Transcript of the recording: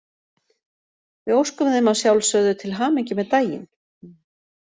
Við óskum þeim að sjálfsögðu til hamingju með daginn!